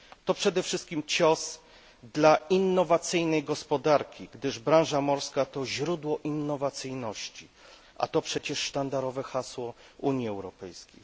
To przede wszystkim cios dla innowacyjnej gospodarki, gdyż branża morska to źródło innowacyjności, a to przecież sztandarowe hasło Unii Europejskiej.